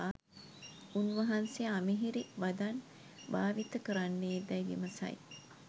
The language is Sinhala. උන්වහන්සේ අමිහිරි වදන් භාවිත කරන්නේදැයි විමසයි.